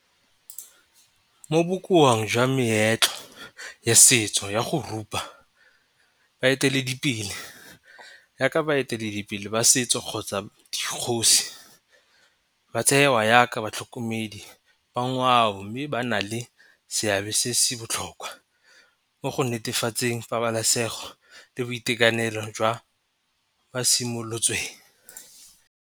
Mo jwa meetlo ya setso ya go rupa baeteledipele yaka baeteledipele ba setso kgotsa dikgosi ba tsewa yaka batlhokomedi ba ngwao mme ba na le seabe se se botlhokwa mo go netefatseng pabalesego le boitekanelo jwa ba simolotsweng.